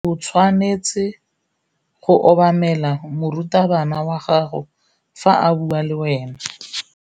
O tshwanetse go obamela morutabana wa gago fa a bua le wena.